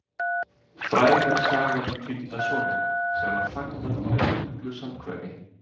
Fræg er sagan um týnda soninn, sem var fagnað með miklu samkvæmi.